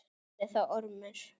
Sagði þá Ormur